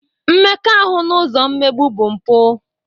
Mmekọahụ n'ụzọ mmegbu bụ mpụ.